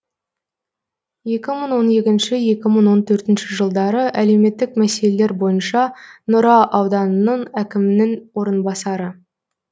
екі мың он екінші екі мың он төртінші жылдары әлеуметтік мәселелер бойынша нұра ауданының әкімнің орынбасары